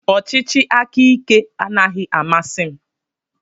Ọchịchị aka ike anaghị amasị m.